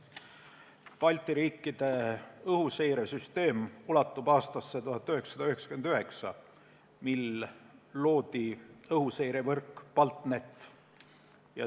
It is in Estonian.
Balti riikide õhuseiresüsteem sai alguse aastal 1999, kui loodi õhuseirevõrk BALTNET.